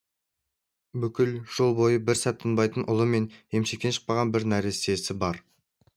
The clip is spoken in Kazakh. бүкіл жол бойында бір сәт тынбайтын ұлы мен емшектен шықпаған бір нәрестесі бар